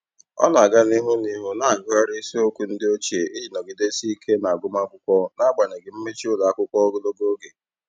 Ọ na-aga n'ihu n'ihu na-agụgharị isiokwu ndị ochie iji nọgidesie ike n'agụmamwkụkwọ n'agbanyeghị mmechi ụlọakwụkwọ ogologo oge.